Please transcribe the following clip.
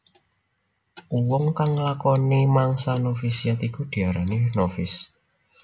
Uwong kang nglakoni mangsa novisiat iku diarani novis